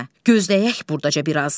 Gözləyək burdaca biraz.